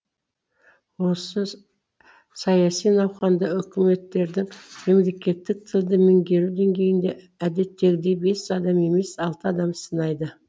осы саяси науқанда үкіметкердің мемлекеттік тілді меңгеру деңгейін де әдеттегідей бес адам емес алты адам сынайды